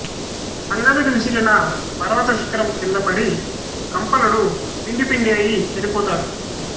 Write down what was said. అంగదుడు విసిరిన పర్వత శిఖరం క్రింద పడి కంపనుడు పిండి పిండి అయి చనిపోయాడు